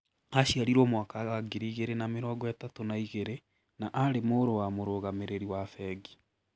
Aciarirũo mwaka wa ngiri igĩrĩ na mĩrongo ĩtatũ na igĩrĩ, na aarĩ mũrũ wa mũrũgamĩrĩri wa bengi